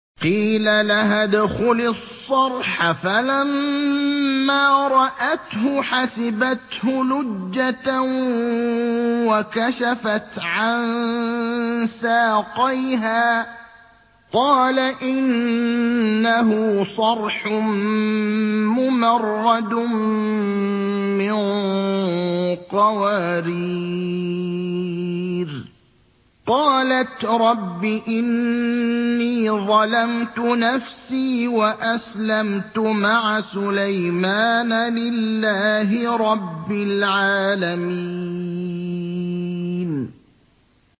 قِيلَ لَهَا ادْخُلِي الصَّرْحَ ۖ فَلَمَّا رَأَتْهُ حَسِبَتْهُ لُجَّةً وَكَشَفَتْ عَن سَاقَيْهَا ۚ قَالَ إِنَّهُ صَرْحٌ مُّمَرَّدٌ مِّن قَوَارِيرَ ۗ قَالَتْ رَبِّ إِنِّي ظَلَمْتُ نَفْسِي وَأَسْلَمْتُ مَعَ سُلَيْمَانَ لِلَّهِ رَبِّ الْعَالَمِينَ